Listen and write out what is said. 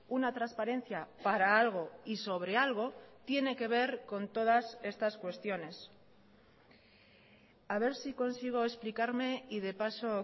una transparencia para algo y sobre algo tiene que ver con todas estas cuestiones a ver si consigo explicarme y de paso